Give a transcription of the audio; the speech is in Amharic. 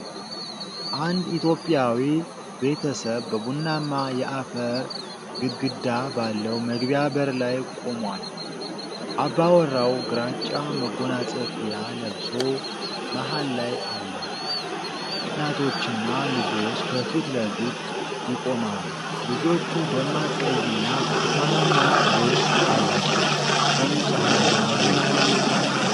አንድ ኢትዮጵያዊ ቤተሰብ በቡናማ የአፈር ግድግዳ ባለው መግቢያ በር ላይ ቆሟል። አባወራው ግራጫ መጎናጸፊያ ለብሶ መሃል ላይ አለ። እናቶችና ልጆች ከፊት ለፊት ይቆማሉ። ልጆቹ ደማቅ ቀይና ብርቱካናማ ልብስ አላቸው። ቀኑ ፀሐያማ ነው።